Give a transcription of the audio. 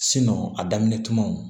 a daminɛ tumaw